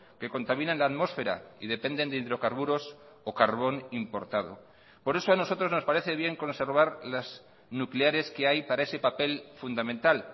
que contaminan la atmósfera y dependen de hidrocarburos o carbón importado por eso a nosotros nos parece bien conservar las nucleares que hay para ese papel fundamental